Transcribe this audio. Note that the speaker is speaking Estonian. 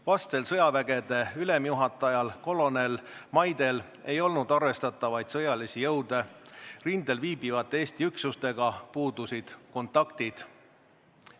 Vastsel sõjavägede ülemjuhatajal kolonel Maidel ei olnud arvestatavaid sõjalisi jõude, rindel viibivate Eesti üksustega puudusid kontaktid.